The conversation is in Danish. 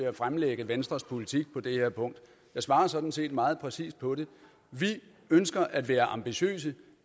at fremlægge venstres politik på det her punkt jeg svarer sådan set meget præcist på det vi ønsker at være ambitiøse og